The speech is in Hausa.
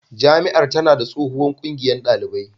Jami'ar tana da tsohuwar ƙungiyar ɗalibai